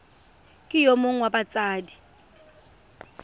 ke yo mongwe wa batsadi